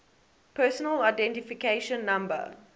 personal identification number